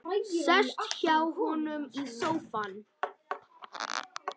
Sest hjá honum í sófann.